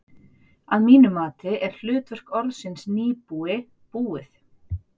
Að mínu mati er hlutverk orðsins nýbúi búið.